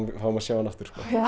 fáum að sjá hann aftur